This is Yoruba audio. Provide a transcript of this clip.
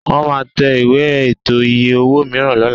Wọ́n máa tẹ ìwé ààtò iye-owó mìíràn lọ́la